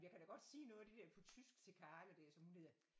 Jeg kan da godt sige noget af det der på tysk til Carla der som hun hedder